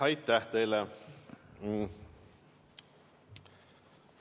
Aitäh teile!